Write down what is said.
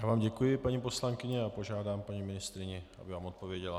Já vám děkuji, paní poslankyně, a požádám paní ministryni, aby vám odpověděla.